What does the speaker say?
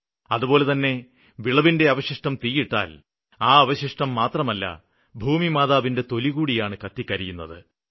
അതുപോലെതന്നെ വിളവിന്റെ അവശിഷ്ടം തീയിട്ടാല് ആ അവശിഷ്ടം മാത്രമല്ല ഭൂമി മാതാവിന്റെ തൊലികൂടിയാണ് കത്തിക്കരിയുന്നത്